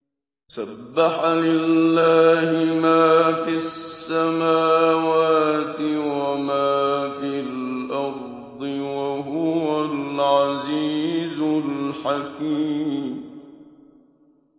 سَبَّحَ لِلَّهِ مَا فِي السَّمَاوَاتِ وَمَا فِي الْأَرْضِ ۖ وَهُوَ الْعَزِيزُ الْحَكِيمُ